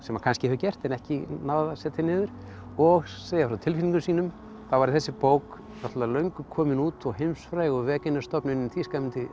kannski hefur gert en ekki náð að setja niður og segja frá tilfinningum sínum þá væri þessi bók náttúrulega löngu komin út og heimsfræg og stofnunin í Þýskalandi